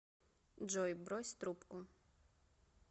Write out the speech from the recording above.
джой брось трубку